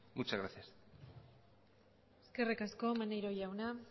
muchas gracias eskerrik asko maneiro jauna